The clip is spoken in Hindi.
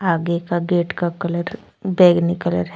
आगे का गेट का कलर बैंगनी कलर है।